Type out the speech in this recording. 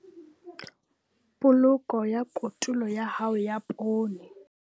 Poloko ya kotulo ya hao ya poone.